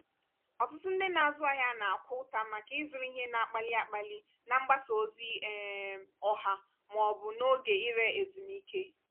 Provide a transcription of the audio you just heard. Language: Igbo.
ọtụtụ ndị na-azụ ahịa na-akwa ụta maka ịzụrụ ihe na-akpali akpali na mgbasa ozi um ọha ma ọ bụ n'oge ire ezumike.